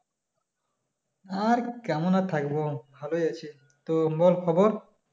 আর কেমন আর থাকবো, ভালোই আছি ।তোমার খবর?